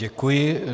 Děkuji.